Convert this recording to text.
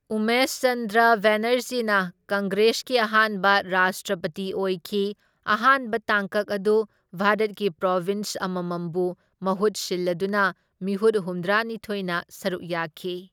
ꯎꯃꯦꯁ ꯆꯟꯗ꯭ꯔ ꯕꯦꯅꯔꯖꯤꯅ ꯀꯪꯒ꯭ꯔꯦꯁꯀꯤ ꯑꯍꯥꯟꯕ ꯔꯥꯁꯇ꯭ꯔꯄꯇꯤ ꯑꯣꯏꯈꯤ ꯑꯍꯥꯟꯕ ꯇꯥꯡꯀꯛ ꯑꯗꯨ ꯚꯥꯔꯠꯀꯤ ꯄ꯭ꯔꯣꯕꯤꯟꯁ ꯑꯃꯃꯝꯕꯨ ꯃꯍꯨꯠ ꯁꯤꯜꯂꯗꯨꯅ ꯃꯤꯍꯨꯠ ꯍꯨꯝꯗ꯭ꯔꯥꯅꯤꯊꯣꯢꯅ ꯁꯔꯨꯛ ꯌꯥꯈꯤ꯫